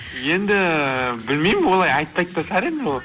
енді білмеймін олай айтпайды да шығар енді ол